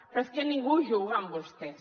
però és que ningú juga amb vostès